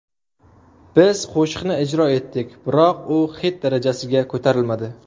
Biz qo‘shiqni ijro etdik, biroq u xit darajasiga ko‘tarilmadi.